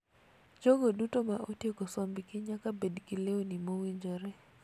Jogo duto ma otieko sombgi nyaka bed gi lewni mowinjore.